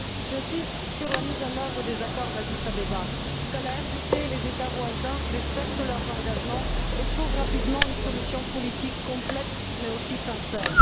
J'insiste sur la mise en œuvre des accords d'Addis Abeba, afin que la RDC et les États voisins respectent leurs engagements et trouvent rapidement une solution politique complète mais aussi sincère.